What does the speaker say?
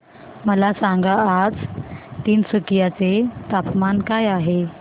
मला सांगा आज तिनसुकिया चे तापमान काय आहे